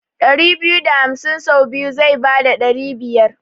ɗari biyu da hamsin sau biyu zai bada ɗari biyar.